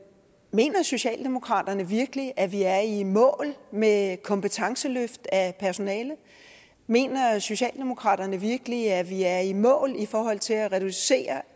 mener socialdemokraterne virkelig at vi er i mål med kompetenceløft af personalet mener socialdemokraterne virkelig at vi er i mål i forhold til at reducere